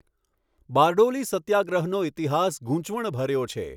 બારડોલી સત્યાગ્રહનો ઇતિહાસ ગૂંચવણ ભર્યો છે?